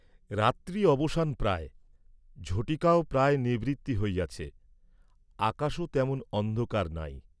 রাত্রি অবসান প্রায়, ঝটিকাও প্রায় নিবৃত্তি হইয়াছে, আকাশও তেমন অন্ধকার নাই।